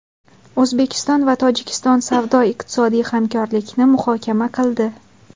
O‘zbekiston va Tojikiston savdo-iqtisodiy hamkorlikni muhokama qildi.